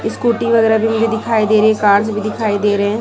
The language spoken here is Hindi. स्कूटी वगैरा भी मुझे दिखाई दे रही कारस भी दिखाई दे रहे है।